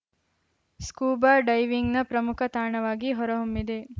scuba ಡೈವಿಂಗ್‌ನ ಪ್ರಮುಖ ತಾಣವಾಗಿ ಹೊರಹೊಮ್ಮಿದೆ